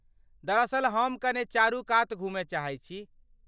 दरअसल हम कने चारूकात घूमय चाहैत छी।